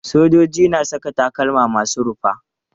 Sojoji na saka takalma masu rufa.